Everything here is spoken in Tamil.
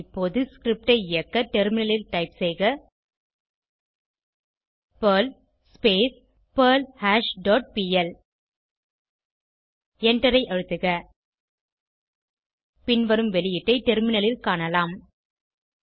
இப்போது ஸ்கிரிப்ட் ஐ இயக்க டெர்மினலில் டைப் செய்க பெர்ல் பெர்ல்ஹாஷ் டாட் பிஎல் எண்டரை அழுத்துக பின்வரும் வெளியீட்டை டெர்மினலில் காணலாம்